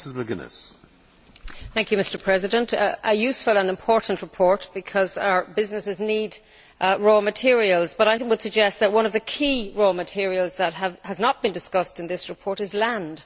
Mr President, this is a useful and important report because our businesses need raw materials, but I would suggest that one of the key raw materials that has not been discussed in this report is land.